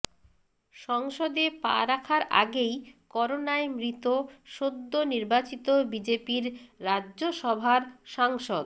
সংসদে পা রাখার আগেই করোনায় মৃত সদ্য নির্বাচিত বিজেপির রাজ্যসভার সাংসদ